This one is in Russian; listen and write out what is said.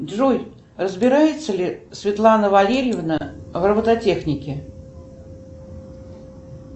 джой разбирается ли светлана валерьевна в робототехнике